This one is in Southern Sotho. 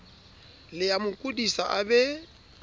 le amo kodisa a be